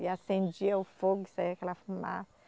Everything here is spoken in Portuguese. E acendia o fogo, saía aquela fuma